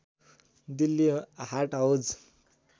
Delhi Haat Hauz